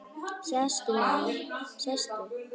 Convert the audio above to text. Sestu, maður, sestu.